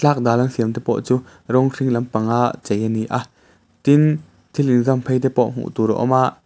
tlak dal an siam te pawh chu rawng hring lampang a chei a ni a tin thil inzam phei te pawh hmuh tur a awm a.